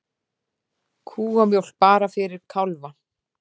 Kúamjólk bara fyrir kálfa